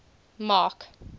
mark